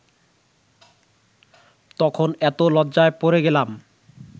তখন এত লজ্জায় পড়ে গেলাম